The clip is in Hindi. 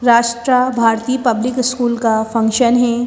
राष्ट्र भारती पब्लिक स्कूल का फंक्शन है।